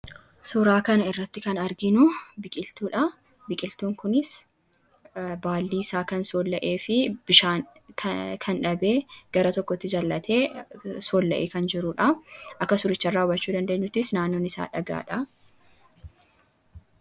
Suuraa kana irratti kan arginu biqiltuudha. Biqiltuun kunis baalli isaa kan soolla'ee fi bishaan kan dhabee gara tokkotti kufee kan arginudha. Naannoon isaas dhagaadha.